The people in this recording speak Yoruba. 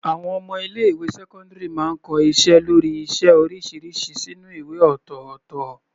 Àwọn ọmọ ilé ìwé sẹ́cọ́ndírì máa ń kọ iṣẹ́ lórí iṣẹ́ oríṣiríṣi sínú ìwé ọ̀tọ̀ọ̀tọ̀.